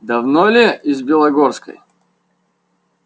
давно ли из белогорской